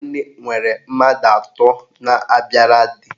Nwanne nwere mmadụ atọ na-abịara di